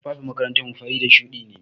Tufafin makarantar mu fari da shuɗi ne.